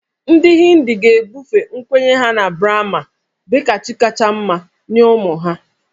Ndị Hindu ga-ebufe nkwenye ha na Brahma dị ka chi kacha mma nye ụmụ ha